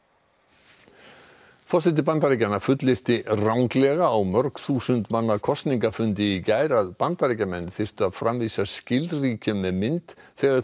forseti Bandaríkjanna fullyrti ranglega á mörg þúsund manna kosningafundi í gær að Bandaríkjamenn þyrftu að framvísa skilríkjum með mynd þegar þeir kaupa í matinn